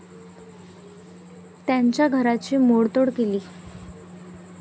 त्यांच्या घराची मोडतोड केली.